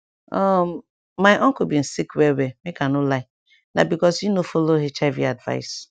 um uncle bin sick well well make i no lie na because e no follow hiv advice